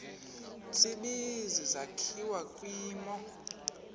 tsibizi sakhiwa kwimo